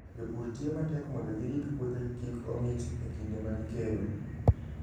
Jopur tiyo matek mondo girit puothegi kik ong'ich e kinde ma gikayo.